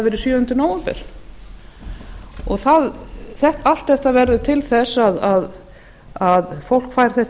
verið sjöunda nóvember allt þetta verður til þess að fólk fær þetta